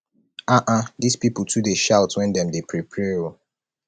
um dis people too dey shout wen dem dey pray pray um